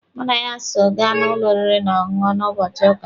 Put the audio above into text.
Mụ na ya so ga n'ụlọ oriri na ọṅụṅụ na ụbọchị ụka.